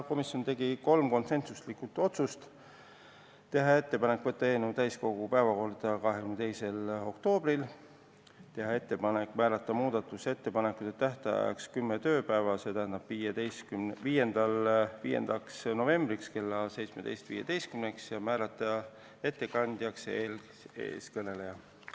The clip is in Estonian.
Komisjon tegi kolm konsensulikku otsust: teha ettepanek võtta eelnõu täiskogu päevakorda 22. oktoobriks, teha ettepanek määrata muudatusettepanekute tähtajaks kümme tööpäeva, st 5. november kell 17.15, ja määrata ettekandjaks eeskõneleja.